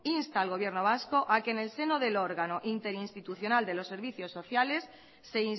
insta al gobierno vasco a que en el seno del órgano interinstitucional de los servicios sociales se